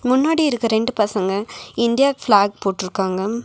முன்னாடி இருக்க ரெண்டு பசங்க இண்டியா பிளாக் போட்ருக்காங்க.